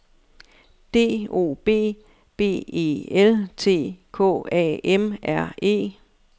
D O B B E L T K A M R E